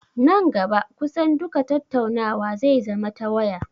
Nan gaba kusan duka tattaunawa zai zama ta waya